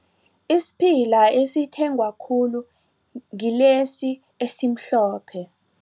Isiphila esithengwa khulu ngilesi esimhlophe.